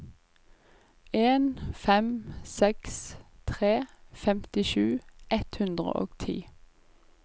en fem seks tre femtisju ett hundre og ti